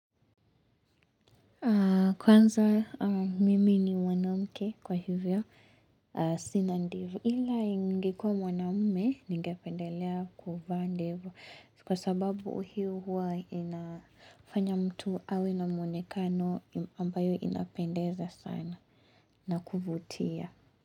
Kwanza mimi ni mwanamke kwa hivyo Sina ndevu ila ningekuwa mwanamume ningependelea kuvaa ndevu kwa sababu hiyo huwa inafanya mtu awe na mwonekano ambayo inapendeza sana na kuvutia.